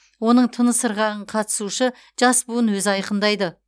оның тыныс ырғағын қатысушы жас буын өзі айқындайды